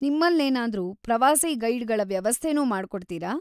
ನಿಮ್ಮಲ್ಲೇನಾದ್ರೂ ಪ್ರವಾಸಿ ಗೈಡ್‌ಗಳ ವ್ಯವಸ್ಥೆನೂ ಮಾಡ್ಕೊಡ್ತೀರ?